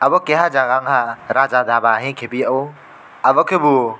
obo keha jaga ungkha raja dhaba hingye khephio abokhe bo.